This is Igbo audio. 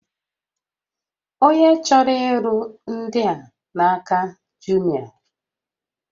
Onye chọrọ ịlụ ndị a n'aka Jumịa